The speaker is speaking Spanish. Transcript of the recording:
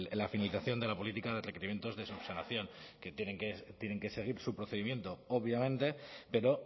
la finalización de la política de requerimientos de subsanación que tienen que seguir su procedimiento obviamente pero